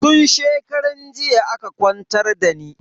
Tun shekaran jiya aka kwantar dani.